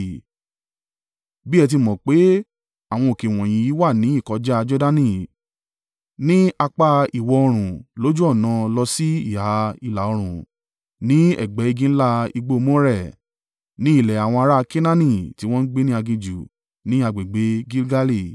Bí ẹ ti mọ̀ pé àwọn òkè wọ̀nyí wà ní ìkọjá a Jordani ní apá ìwọ̀-oòrùn lójú ọ̀nà lọ sí ìhà ìlà-oòrùn, ní ẹ̀gbẹ́ igi ńlá igbó More, ní ilẹ̀ àwọn ará a Kenaani, tí wọ́n ń gbé ní aginjù, ni agbègbè Gilgali.